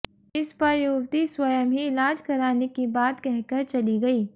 इस पर युवती स्वयं ही इलाज कराने की बात कह कर चली गई